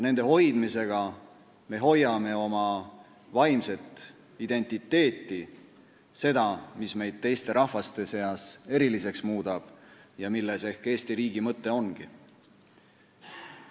Nende hoidmisega me hoiame oma vaimset identiteeti – seda, mis meid teiste rahvaste seas eriliseks muudab ja milles ehk Eesti riigi mõte ongi.